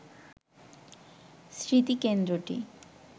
স্মৃতিকেন্দ্রটি